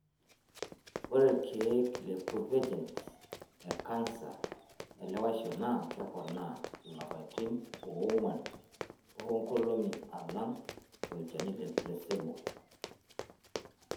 Ore ilkeek le provenge e kansa elewaisho naa keponaa lapaitin oong'wan toonkolong'i alang' olchani le placebo.